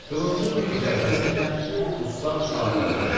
Qılıncın bir zərbəsi ilə dustaq azad oldu.